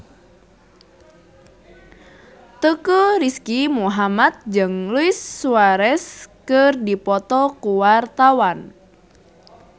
Teuku Rizky Muhammad jeung Luis Suarez keur dipoto ku wartawan